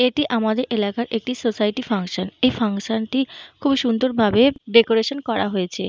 এটি আমাদের এলাকার একটি সোসাইটি ফাঙ্কশন । এই ফাঙ্কশন টি খুবই সুন্দর ভাবে ডেকোরেসান করা হয়েছে।